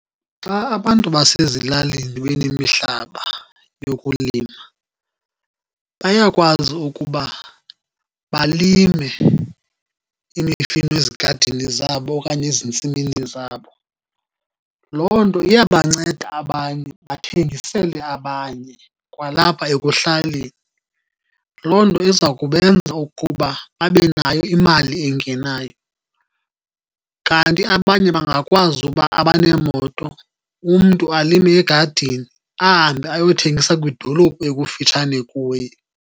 Xa abantu basezilalini benemihlaba yokulima, bayakwazi ukuba balime imifino ezigadini zabo okanye ezintsimini zabo. Loo nto iyabanceda abanye bathengisele abanye kwalapha ekuhlaleni, loo nto iza kubenza ukuba babe nayo imali engenayo. Kanti abanye bangakwazi uba, abaneemoto, umntu alime egadini ahambe ayothengisa kwidolophu ekufitshane kuye.